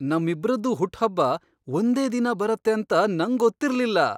ನಮ್ಮಿಬ್ರದ್ದೂ ಹುಟ್ಟ್ಹಬ್ಬ ಒಂದೇ ದಿನ ಬರತ್ತೆ ಅಂತ ನಂಗೊತ್ತಿರ್ಲಿಲ್ಲ!